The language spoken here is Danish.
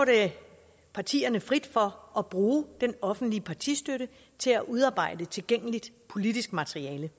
partierne frit for at bruge den offentlige partistøtte til at udarbejde tilgængeligt politisk materiale